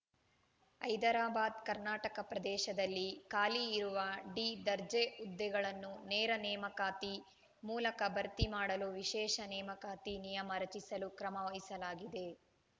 ಹೈದರಾಬಾದ್‌ಕರ್ನಾಟಕ ಪ್ರದೇಶದಲ್ಲಿ ಖಾಲಿ ಇರುವ ಡಿ ದರ್ಜೆ ಹುದ್ದೆಗಳನ್ನು ನೇರ ನೇಮಕಾತಿ ಮೂಲಕ ಭರ್ತಿ ಮಾಡಲು ವಿಶೇಷ ನೇಮಕಾತಿ ನಿಯಮ ರಚಿಸಲು ಕ್ರಮ ವಹಿಸಲಾಗಿದೆ